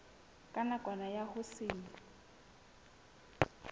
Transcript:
ka kamano ya ho se